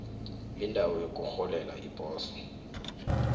indawo yokurholela iposo